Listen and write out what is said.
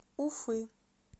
уфы